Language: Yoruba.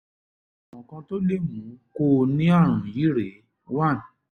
lè mú kó o ní ààrùn yìí rèé one